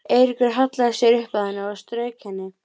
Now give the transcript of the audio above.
Gestheiður, syngdu fyrir mig „Vítisengill á Davidson“.